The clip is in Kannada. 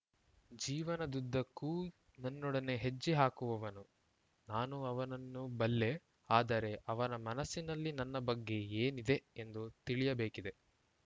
ಜೀವನದುದ್ದಕ್ಕೂ ನನ್ನೊಡನೆ ಹೆಜ್ಜೆ ಹಾಕುವವನು ನಾನು ಅವನನ್ನು ಬಲ್ಲೆ ಆದರೆ ಅವನ ಮನಸ್ಸಿನಲ್ಲಿ ನನ್ನ ಬಗ್ಗೆ ಏನಿದೆ ಎಂದು ತಿಳಿಯಬೇಕಿದೆ